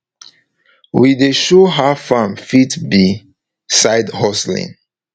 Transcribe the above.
we dey show how farm fit be side hustling